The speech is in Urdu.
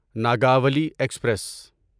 ناگوالی ایکسپریس